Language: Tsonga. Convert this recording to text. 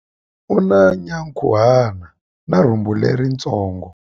U na nyankhuhana na rhumbu leritsongo.